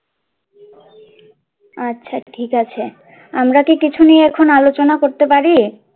আচ্ছা ঠিক আছে আমরা কি কিছু নিয়ে এখন আলোচনা করতে পারি?